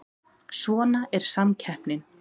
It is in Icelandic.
Svona er samkeppnin